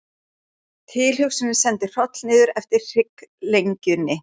Tilhugsunin sendi hroll niður eftir hrygglengjunni.